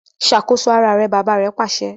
Ṣakoso àrà rẹ! bàbà rè pàṣẹ